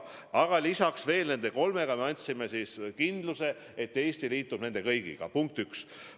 Aga lisaks veel nendele me andsime kindluse, et Eesti liitub nende kõigiga – punkt üks.